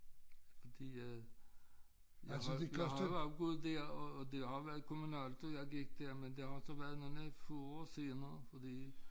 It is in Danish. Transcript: Fordi øh jeg har jeg har også boet der og og det har været kommunalt da jeg gik der men det har også været nogle få år senere fordi